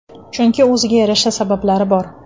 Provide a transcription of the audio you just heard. Chunki o‘ziga yarasha sabablari bor.